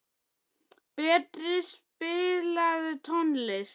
Berti, spilaðu tónlist.